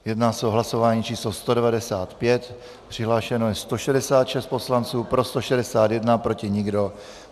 Jedná se o hlasování číslo 195, přihlášeno je 166 poslanců, pro 161, proti nikdo.